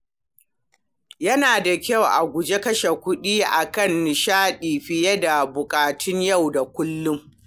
Yana da kyau a guji kashe kuɗi a kan nishaɗi fiye da buƙatun yau da kullum.